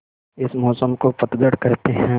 इस मौसम को पतझड़ कहते हैं